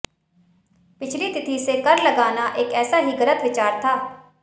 पिछली तिथि से कर लगाना एक ऐसा ही गलत विचार था